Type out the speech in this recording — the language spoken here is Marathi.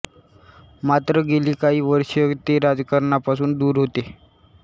मात्र गेली काही वर्षे ते राजकारणापासून दूर होते